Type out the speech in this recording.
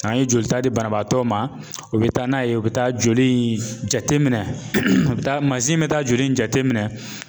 N'an ye jolita di banabaatɔ ma o bɛ taa n'a ye o bɛ taa joli in jateminɛ a bɛ taa mansin bɛ taa joli in jateminɛ